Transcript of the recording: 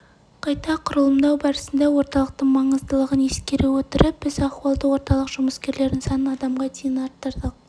анықтап қана қоймай қызметтің соңғы нәтижеге дейін жетуін қадағалап себептерін жою үшін шаралар қабылдайды соңғы